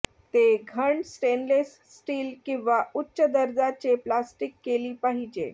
ते घन stainless steel किंवा उच्च दर्जाचे प्लास्टिक केली पाहिजे